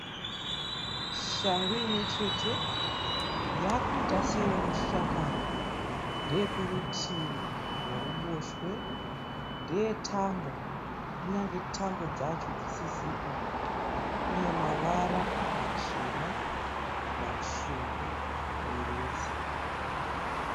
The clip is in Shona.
Shangu imwe chete. Yakuita seinoshakara. Ndeye kurutuvi rworuboshwe. Ndeye tambo kunyange tambo dzacho dzisisipo. Ine mavara machena matsvuku muviri wese.